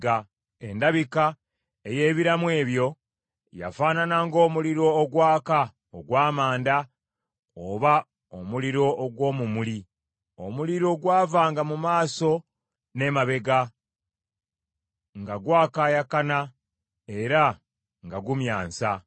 Endabika ey’ebiramu ebyo yafaanana ng’omuliro ogwaka ogw’amanda oba omuliro ogw’omumuli. Omuliro gwavanga mu maaso n’emabega, nga gwakaayaakana era nga gumyansa.